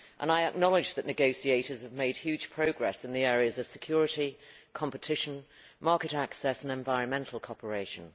I acknowledge that negotiators have made huge progress in the areas of security, competition, market access and environmental cooperation.